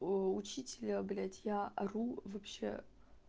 оо учителя блять я ору вообще